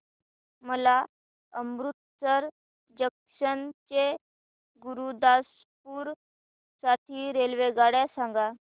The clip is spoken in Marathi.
मला अमृतसर जंक्शन ते गुरुदासपुर साठी रेल्वेगाड्या सांगा